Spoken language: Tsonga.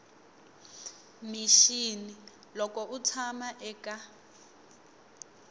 mixini loko u tshama eka